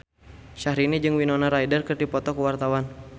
Syahrini jeung Winona Ryder keur dipoto ku wartawan